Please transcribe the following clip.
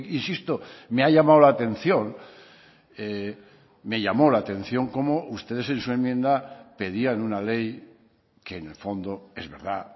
insisto me ha llamado la atención me llamó la atención como ustedes en su enmienda pedían una ley que en el fondo es verdad